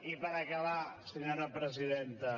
i per acabar senyora presidenta